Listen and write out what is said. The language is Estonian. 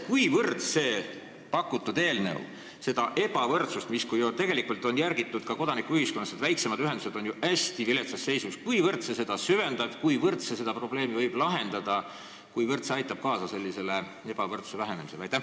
Kuivõrd pakutud eelnõu süvendab seda ebavõrdsust, mida on tegelikult järgitud ka kodanikuühiskonnas – väiksemad ühendused on ju hästi viletsas seisus –, ja kuivõrd võib see lahendada seda probleemi ehk aidata kaasa ebavõrdsuse vähenemisele?